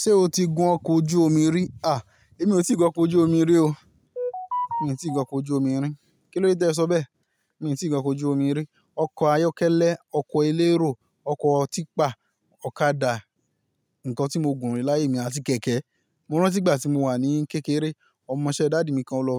Ṣé o ti gun ọkọ̀ ojú omi rí? À, èmi ò tí ì gun ọkọ̀ ojú omi rí o. Mi tí ì gun ọkọ̀ ojú omi rí. Kílódé te ẹ sọ bẹ́ẹ̀? Èmi tí ì gun ọkọ̀ ojú omi rí. Ọkọ̀ ayọ́kẹ́lẹ́, ọkọ̀ elérò, ọkọ̀ típa, ọ̀kadà, nǹkan tí mó gùn rí láyè mí, àti kẹ̀kẹ́. Mó rántí ìgbà tí mò wà ní kékeré, ọmọṣẹ́ dádí mi kàn lọ